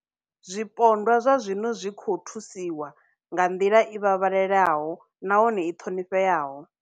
Zwipondwa zwa zwino zwi khou thusiwa nga nḓila i vhavhalelaho nahone i ṱhonifheaho.